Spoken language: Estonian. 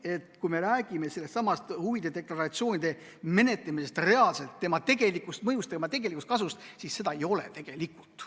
Et kui me räägime sellestsamast huvide deklaratsioonide menetlemisest, selle tegelikust mõjust ja tegelikust kasust, siis seda ei ole tegelikult.